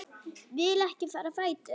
Vil ekki fara á fætur.